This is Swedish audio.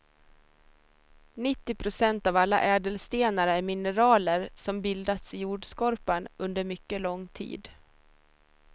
Nittio procent av alla ädelstenar är mineraler som bildats i jordskorpan under mycket lång tid.